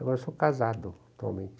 Agora eu sou casado atualmente.